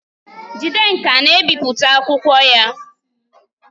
Jidenka na-ebipụta akwụkwọ ya.